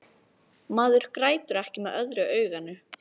Maður grætur ekki með öðru auganu.